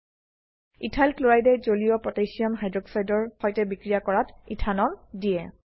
ethyl ক্লোৰাইডে জলীয় potassium হাইক্সাইডৰ সৈতে বিক্ৰিয়া কৰাত ইথানল দিয়ে